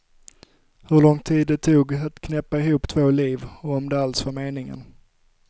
Hur lång tid det tog att knäppa ihop två liv, och om det alls var meningen.